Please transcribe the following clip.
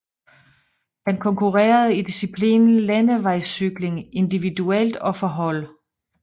Han konkurrerede i diciplinen Landevejscykling individuelt og for hold